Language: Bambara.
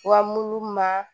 Wa mulu ma